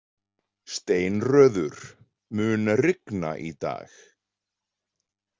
Steinröður, mun rigna í dag?